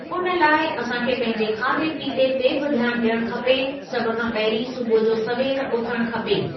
उन लाइ असां खे पंहिंजे खाधे पीते ते बि ध्यानु ॾियणु खपे सभु खां पंहिरीं सुबूह जो सवेर उथणु खपे।